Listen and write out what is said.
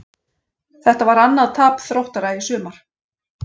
Þetta var annað tap Þróttara í sumar.